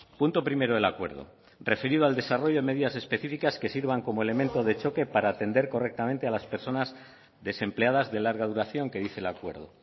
punto primero del acuerdo referido al desarrollo de medidas específicas que sirvan como elemento de choque para atender correctamente a las personas desempleadas de larga duración que dice el acuerdo